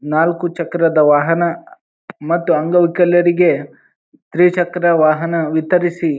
ನಾಲ್ಕು ಚಕ್ರದ ವಾಹನ ಮತ್ತು ಅಂಗ ವಿಕಲರಿಗೆ ತ್ರಿ ಚಕ್ರ ವಾಹನ ವಿತರಿಸಿ.